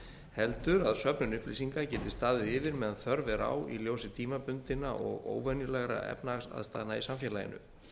heldur að söfnun upplýsinga getu staðið yfir meðan þörf er á í ljósi tímabundinna og óvenjulegra efnahagslegra aðstæðna í samfélaginu